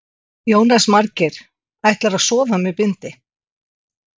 Jónas Margeir: Ætlarðu að sofa með bindi?